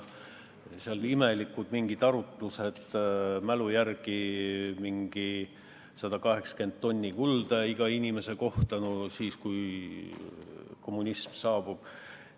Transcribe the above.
Seal olid mingid imelikud arutlused, mälu järgi öeldes, mingi 180 tonni kulda iga inimese kohta, kui kommunism saabub.